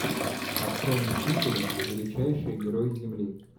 открой мстители величайшие герои земли